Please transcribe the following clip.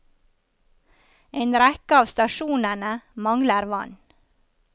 En rekke av stasjonene mangler vann.